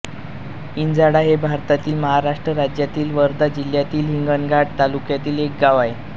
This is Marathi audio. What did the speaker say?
इंझाळा हे भारतातील महाराष्ट्र राज्यातील वर्धा जिल्ह्यातील हिंगणघाट तालुक्यातील एक गाव आहे